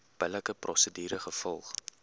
billike prosedure gevolg